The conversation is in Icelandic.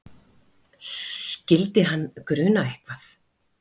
Skyldi hann gruna eitthvað?